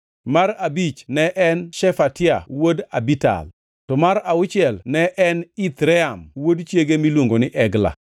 mar abich ne en Shefatia wuod Abital; to mar auchiel ne en Ithream wuod chiege miluongo ni Egla.